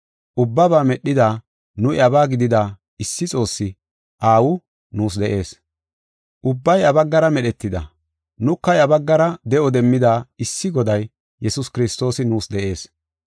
ubbaba medhida, nu iyabaa gidida, issi Xoossi, Aawi, nuus de7ees . Ubbay iya baggara medhetida, nuka iya baggara de7o demmida issi Goday, Yesuus Kiristoosi nuus de7ees.